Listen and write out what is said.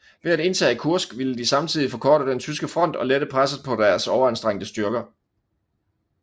Ved at indtage Kursk ville de samtidigt forkorte den tyske front og lette presset på deres overanstrengte styrker